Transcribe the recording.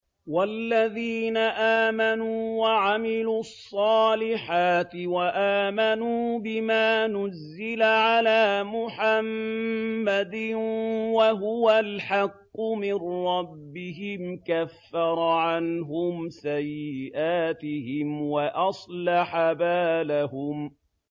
وَالَّذِينَ آمَنُوا وَعَمِلُوا الصَّالِحَاتِ وَآمَنُوا بِمَا نُزِّلَ عَلَىٰ مُحَمَّدٍ وَهُوَ الْحَقُّ مِن رَّبِّهِمْ ۙ كَفَّرَ عَنْهُمْ سَيِّئَاتِهِمْ وَأَصْلَحَ بَالَهُمْ